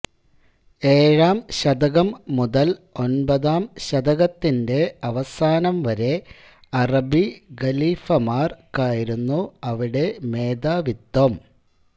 ഏഴാം ശതകം മുതൽ ഒൻപതാം ശതകത്തിന്റെ അവസാനംവരെ അറബി ഖലീഫമാർക്കായിരുന്നു അവിടെ മേധാവിത്വം